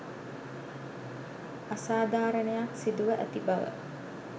අසාධාරණයක් සිදුව ඇති බව